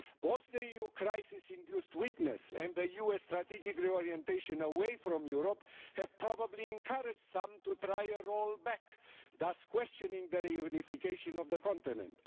Both the EU crisis induced weakness and the US strategic reorientation away from Europe have probably encouraged some to try a roll back, thus questioning the reunification of the continent.